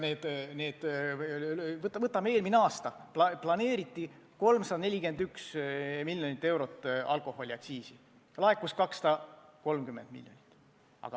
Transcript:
Võtame eelmise aasta: planeeriti 341 miljonit eurot alkoholiaktsiisi, laekus 230 miljonit.